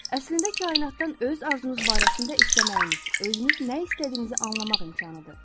Əslində kainatdan öz arzunuz barəsində istəməyiniz, özünüz nə istədiyinizi anlamaq imkanıdır.